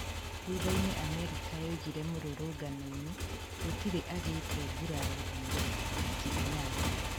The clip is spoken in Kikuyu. Thuthainĩ Amerika yaugire mũrũrũnganoinĩ gũtĩri agĩte nguraro riri tariki inyanya